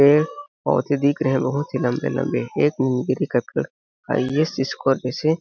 पेड़ पौधे दिख रहे है बहोत ही लम्बे-लम्बे एक आइ_एस स्कोर पे से--